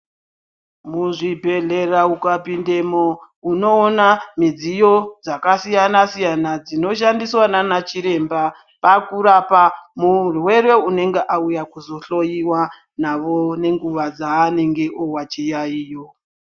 Mezvibhedhlera ukapindemo unoona midziyo dzakasiyanasiyana dzinoshandiswa naana chiremba pakurapa murwere unonga auya kuzohloyiwa navo nenguwa dzaanenge owa chiyayiyo.